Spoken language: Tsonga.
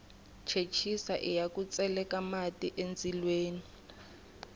chechisa iya ku tseleka mati endzilweni